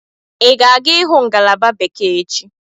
Ị ga-aga ịhụ ngalaba bekee echi?